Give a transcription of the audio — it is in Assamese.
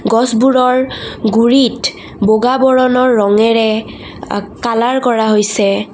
গছবোৰৰ গুৰিত বগা বৰণৰ ৰঙেৰে আ কালাৰ কৰা হৈছে।